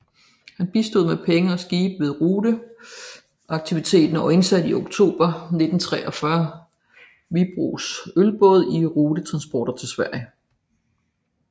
Han bistod med penge og skibe ved ruteaktiviteten og indsatte i oktober 1943 Wiibroes Ølbåd i rutetransport til Sverige